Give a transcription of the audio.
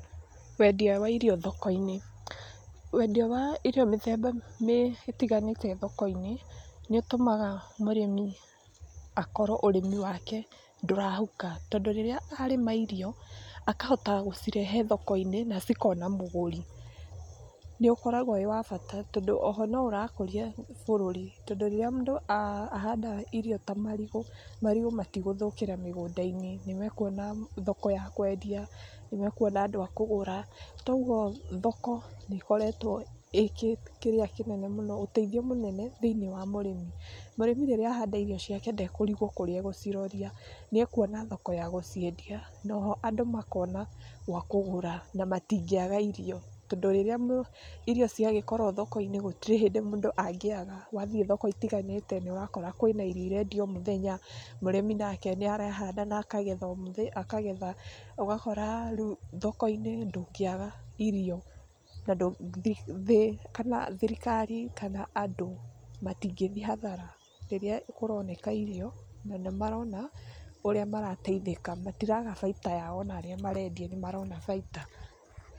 Wendia wa irio thoko-inĩ. Wendia wa irio mĩthemba ĩtiganĩte thoko-inĩ nĩ ũtũmaga mũrĩmi akorwo ũrĩmi wake ndũrahuka tondũ rĩrĩa arĩma irio, akahota gũcirehe thoko-inĩ na cikona mũgũri, nĩũkoragwo wĩ wa bata tondũ oho noũrakũria bũrũri tondũ rĩrĩa mũndũ ahanda irio ta marigũ, marigũ matigũthũkĩra mũgũnda-inĩ, nĩmekuona thoko ya kwendia, nĩmekuona andũ a kũgũra, kwoguo thoko ĩkoretwo ĩ ũtethio mũnene thĩinĩ wa mũrĩmi. Mũrĩmi rĩrĩa ahanda irio ciake ndekũrigwo kũrĩa egũciroria, nĩekuona thoko ya gũciendia na oho andũ makona gwa kũgũra na matingĩaga irio tondũ rĩrĩa irio ciagĩkorwo thoko-inĩ gũtirĩ hĩndĩ mũndũ angĩaga, wathiĩ thoko itiganĩte nĩũrakora kwĩna irio irendio omũthenya, mũrĩmi nake nĩarahanda na akagetha, ũgakora rĩu thoko-inĩ ndũngĩaga irio na thirikari kana andũ matingĩthiĩ hathara rĩrĩa kũroneka irio na nĩmarona ũrĩa marateithĩka matiraga baita yao ona arĩa marendia nĩmarona baita.